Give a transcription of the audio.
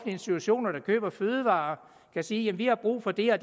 institutioner der køber fødevarer kan sige vi har brug for det og